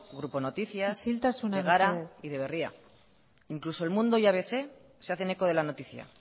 grupo noticias de gara y de berria isiltasuna mesedez incluso el mundo y abc se hacen eco de la noticia